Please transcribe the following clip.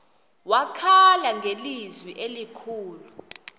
wakhala ngelizwi elikhulu